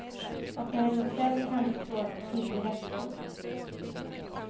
Och när du gjort det kan du slå till direkt. punkt